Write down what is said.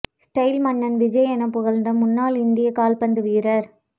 style மன்னன் விஜய் என புகழ்ந்த முன்னாள் இந்திய கால்பந்து வீரர்